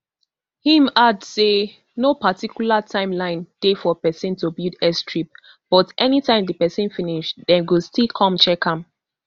im add say no particular time line dey for pesin to build airstrip but anytime di pesin finish dem go still come check am